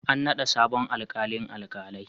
An naɗa sabon alƙalin alkalai.